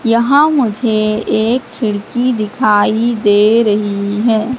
यहां मुझे एक खिड़की दिखाई दे रही है।